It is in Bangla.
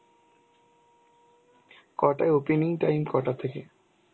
কটায় opening time কটা থেকে?